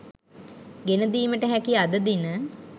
ගෙන දීමට හැකි අද දින